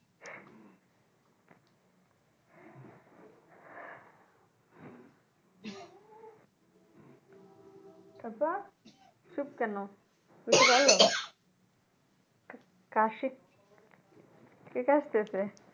তারপর চুপ কেনো কিছু বলো কাশি কে কাশতেছে?